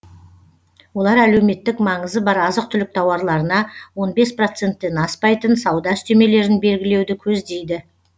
олар әлеуметтік маңызы бар азық түлік тауарларына он бес проценттен аспайтын сауда үстемелерін белгілеуді көздейді